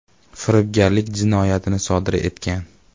firibgarlik jinoyatini sodir etgan.